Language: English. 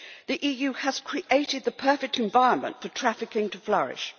The EU has created the perfect environment for trafficking to flourish.